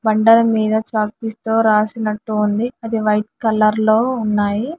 బండల మీద chalk piece తో రాసినట్టు ఉంది అది వైట్ కలర్ లో ఉన్నాయి.